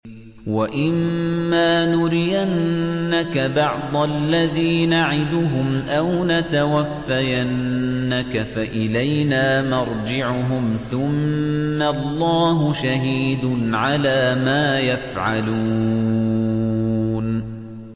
وَإِمَّا نُرِيَنَّكَ بَعْضَ الَّذِي نَعِدُهُمْ أَوْ نَتَوَفَّيَنَّكَ فَإِلَيْنَا مَرْجِعُهُمْ ثُمَّ اللَّهُ شَهِيدٌ عَلَىٰ مَا يَفْعَلُونَ